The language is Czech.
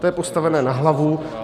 To je postavené na hlavu.